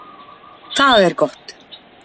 Það er gott.